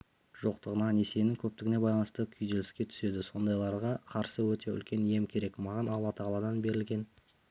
жоқтығына несиесінің көптігіне байланысты күйзеліске түседі сондайларға қарсы өте үлкен ем керек маған алла-тағаладан берілген